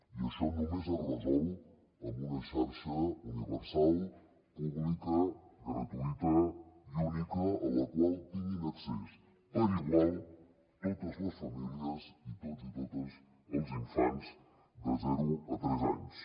i això només es resol amb una xarxa universal pública gratuïta i única a la qual tinguin accés per igual totes les famílies i tots els infants de zero a tres anys